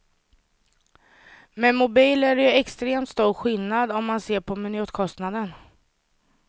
Med mobil är det ju extremt stor skillnad om man ser på minutkostnaden.